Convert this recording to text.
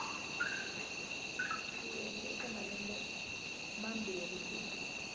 swiyenge eka malembe mambirhi ku